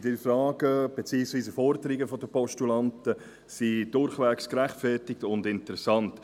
Die Fragen beziehungsweise die Forderungen der Postulanten sind durchwegs gerechtfertigt und interessant.